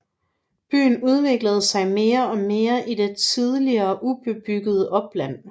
Byen udvider sig mere og mere i det tidligere ubebyggede opland